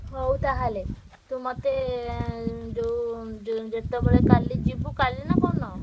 ହଉ ତାହେଲେ ତୁ ମତେ ଯୋଉଯୋଉ ଜେତବେଳେ କାଲି ଯିବୁ କାଲି ନା କୋଉଦିନ?